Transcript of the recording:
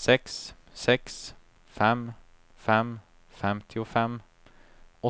sex sex fem fem femtiofem